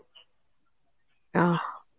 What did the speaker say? ଅଃ